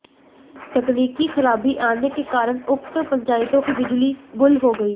तकनीकी खराबी आने के कारण उक्त पंचायतों की बिजली गुल हो गई